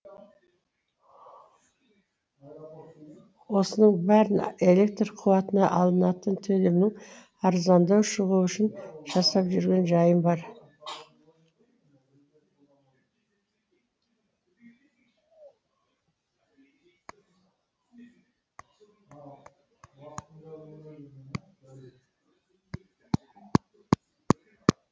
осының бәрін электр қуатына алынатын төлемнің арзандау шығуы үшін жасап жүрген жайым бар